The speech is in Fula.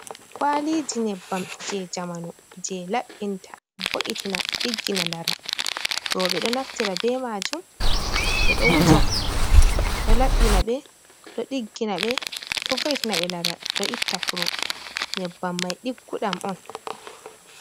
Kwaliji nyebbam je jamanu, je labbinta, diggina laral. Roɓe ɗo naftira be majum ɓewuja, bido vo’itina be laral. Ɗo itta kuro. Nyebbam mai digguɗam on.